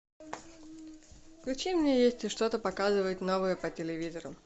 включи мне если что то показывают новое по телевизору